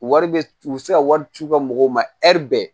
Wari bɛ u bɛ se ka wari ci u ka mɔgɔw ma bɛɛ